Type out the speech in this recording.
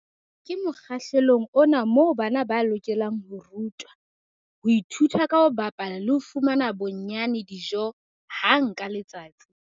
Ke mokgahlelong ona moo bana ba lokelang ho rutwa, ho ithuta ka ho bapala le ho fumana bonnyane dijo hang ka letsatsi.